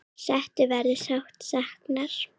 Settu verður sárt saknað.